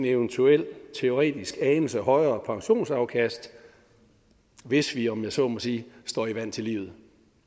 eventuelt teoretisk en anelse højere pensionsafkast hvis vi om jeg så må sige står i vand til livet